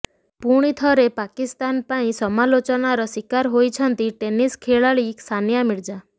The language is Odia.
ଫୁଣିଥରେ ପାକିସ୍ତାନ ପାଇଁ ସମାଲୋଚନାର ଶିକାର ହୋଇଛନ୍ତି ଟେନିସ୍ ଖେଳାଳି ସାନିଆ ମିର୍ଜା